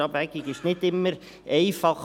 Die Abwägung ist nicht immer einfach.